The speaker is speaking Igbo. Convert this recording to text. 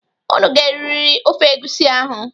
Unu ga-eriri ofe egusi ahụ.